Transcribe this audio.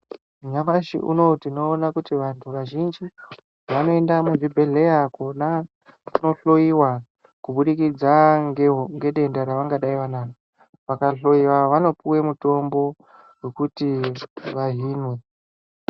Nyamashi unowu tinoona kuti vantu vazhinji vanoenda muzvibhedhleya kona kuno hloiwa kubudikidza ngedenda ravangadai vanaro vakahloiwa vanopuwe mutombo wekuti vahinwe.